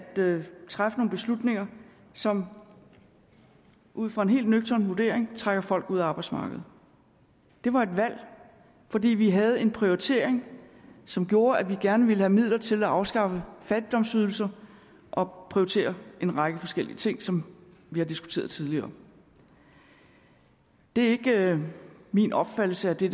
træffe nogle beslutninger som ud fra en helt nøgtern vurdering trækker folk ud af arbejdsmarkedet det var et valg fordi vi havde en prioritering som gjorde at vi gerne ville have midler til at afskaffe fattigdomsydelser og prioritere en række forskellige ting som vi har diskuteret tidligere det er ikke min opfattelse at det